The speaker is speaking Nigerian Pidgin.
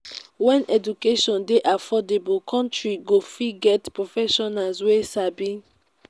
when education dey affordable country go fit get professionals wey sabi